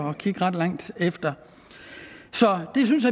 at kigge ret langt efter så det synes